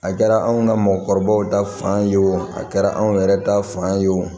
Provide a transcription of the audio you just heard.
A kɛra anw ka mɔgɔkɔrɔbaw ta fan ye o a kɛra anw yɛrɛ ta fan ye wo